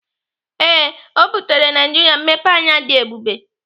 Ee, ọ butere Naijiria mmepeanya dị ebube.